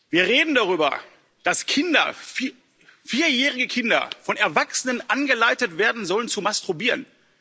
Wir reden darüber, dass vierjährige Kinder von Erwachsenen angeleitet werden sollen zu masturbieren.